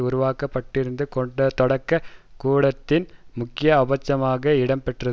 உருவாக்குவது தொடக்க கூட்டத்தின் முக்கிய அம்சமாக இடம் பெற்ற